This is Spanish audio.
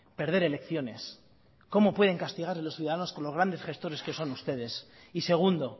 perder elecciones cómo pueden castigar a los ciudadanos con los grandes gestores que son ustedes y segundo